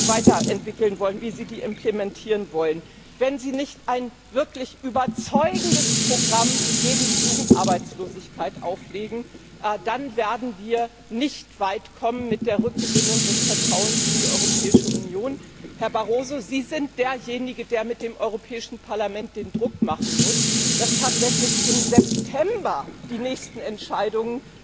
weiter entwickeln und implementieren wollen, wenn Sie nicht ein wirklich überzeugendes Programm gegen die Jugendarbeitslosigkeit auflegen, dann werden wir mit der Rückgewinnung des Vertrauens in die Europäische Union nicht weit kommen. Herr Barroso, Sie sind derjenige, der mit dem Europäischen Parlament den Druck machen muss, dass tatsächlich im September die nächsten Entscheidungen